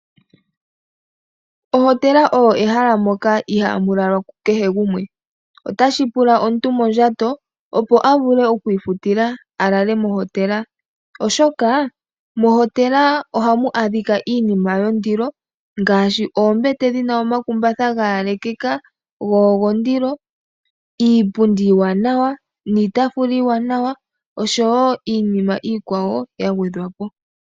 Ohotela oyo ehala moka ihaamu lalwa kukehe gumwe. Otashi pula omuntu mondjato, opo a vule okwiifutila a lale mohotela, oshoka mohotela ohamu adhika iinima yondilo, ngaashi oombete dhi na omakumbatha ga yalekeka go ogondilo, iipundi iiwanawa, niitaafula iiwanawa, osho wo iinima iikwawo ya gwedhwa po.